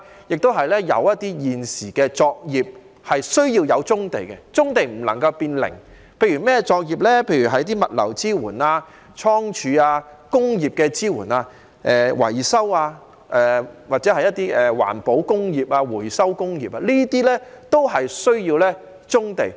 現時亦有一些作業需用棕地，棕地不能變"零"，例如是物流支援、倉儲、工業支援、維修、環保工業和回收工業等都需要棕地。